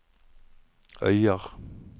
Øyer